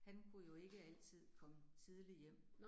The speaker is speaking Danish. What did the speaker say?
Han kunne jo ikke altid komme tidligt hjem